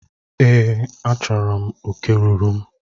Èé, achọrọ m oke ruuru m.